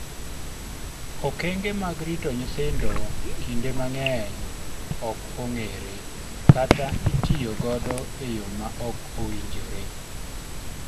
okenge mag rito nyithindo kinde mang'eny ok ong'ere kata itiyo godo e yo ma ok owinjore